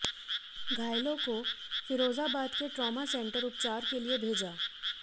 घायलों को फीरोजाबाद के ट्रामा सेंटर उपचार के लिए भेजा